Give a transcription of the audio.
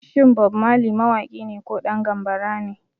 Shin Bob Marley mawaki ne ko ɗan gambara ne?